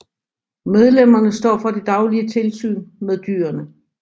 Medlemmerne står for det daglige tilsyn med dyrene